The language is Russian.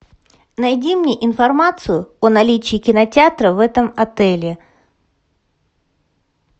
найди мне информацию о наличии кинотеатра в этом отеле